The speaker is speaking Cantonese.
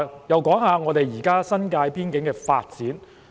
讓我談談現時新界邊境的發展。